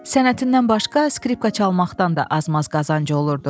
Sənətindən başqa skripqa çalmaqdan da az-maz qazancı olurdu.